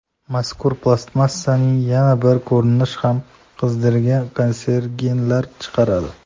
Mazkur plastmassaning yana bir ko‘rinishi ham qizdirganda kanserogenlar chiqaradi.